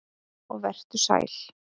Og vertu sæll.